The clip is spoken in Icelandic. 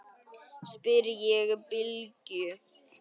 spyr ég Bylgju.